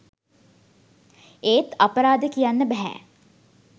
ඒත් අපරාදේ කියන්න බැහැ